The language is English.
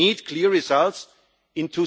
We need clear results